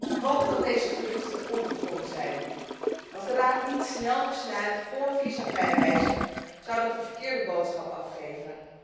Ik hoop dat deze geruchten ongegrond zijn. Als de Raad niet snel besluit voor visavrij reizen, zou dat een verkeerde boodschap afgeven.